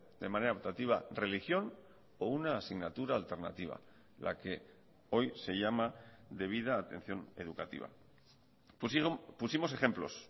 de manera optativa religión o una asignatura alternativa la que hoy se llama de vida atención educativa pusimos ejemplos